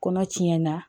Kɔnɔ tiɲɛna